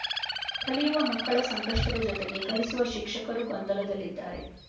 ಕಲಿಯುವ ಮಕ್ಕಳ ಸಂಕಷ್ಟದ ಜೊತೆಗೆ ಕಲಿಸುವ ಶಿಕ್ಷಕರೂ ಗೊಂದಲದಲ್ಲಿ ಇದ್ದಾರೆ